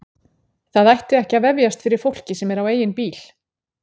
Það ætti ekki að vefjast fyrir fólki sem er á eigin bíl.